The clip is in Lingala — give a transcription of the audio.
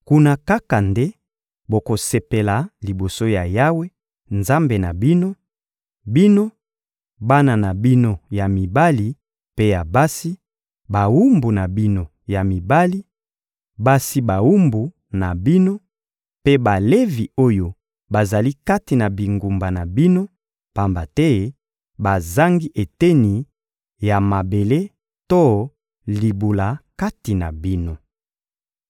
Kuna kaka nde bokosepela liboso ya Yawe, Nzambe na bino; bino, bana na bino ya mibali mpe ya basi, bawumbu na bino ya mibali, basi bawumbu na bino, mpe Balevi oyo bazali kati na bingumba na bino, pamba te bazangi eteni ya mabele to libula kati na bino.